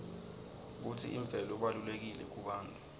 kutsi imvelo ibalulekile kubantfu